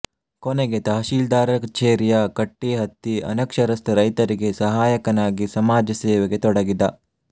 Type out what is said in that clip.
ಕೊನೆಗೆ ತಹಶೀಲ್ದಾರ ಕಛೇರಿಯ ಕಟ್ಟಿಹತ್ತಿ ಅನಕ್ಷರಸ್ಥ ರೈತರಿಗೆ ಸಹಾಯಕನಾಗಿ ಸಮಾಜ ಸೇವೆಗೆ ತೊಡಗಿದ